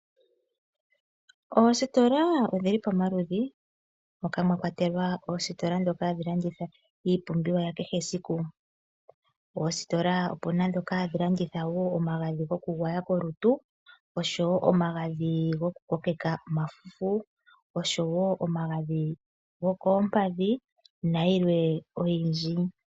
Oositola odhili pamaludhi, moka mwakwatelwa oositola dhoka hadhi landitwa iipumbiwa ya kehe esiku. Oositola opuna dhoka hadhi landitha wo omagadhi goku gwaya kolutu oshowo omagadhi goku kokeka omafufu. Oshowo omagadhi gokoompadhi nayilwe oyindji.